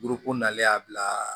Burukinale y'a bila